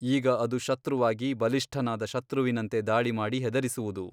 ಆಗ ಅದು ಶತ್ರುವಾಗಿ ಬಲಿಷ್ಠನಾದ ಶತ್ರುವಿನಂತೆ ಧಾಳಿಮಾಡಿ ಹೆದರಿಸುವುದು.